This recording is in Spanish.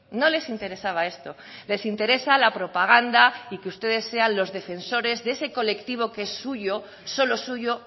no les interesaba esto les interesa la propaganda y que ustedes sean los defensores de ese colectivo que es suyo solo suyo